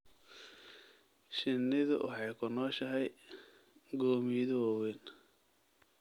Shinnidu waxay ku nooshahay gomiyado waaweyn.